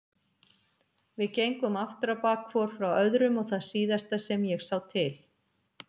Við gengum afturábak hvor frá öðrum og það síðasta sem ég sá til